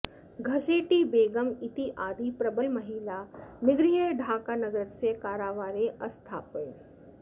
घसेटि बेगम् इत्यादीः प्रबलमहिलाः निग्रह्य ढाकानगरस्य कारावारे अस्थापयन्